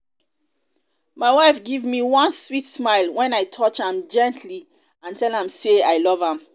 my wife give me one sweet smile wen i touch am gently and tell am say i love am